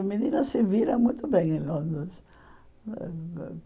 Menina se vira muito bem em Londres.